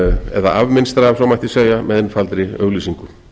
eða afmynstra ef svo mætti segja með einfaldri auglýsingu